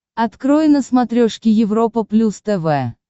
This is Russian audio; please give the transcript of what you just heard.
открой на смотрешке европа плюс тв